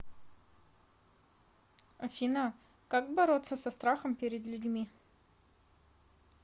афина как бороться со страхом перед людьми